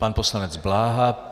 Pan poslanec Bláha.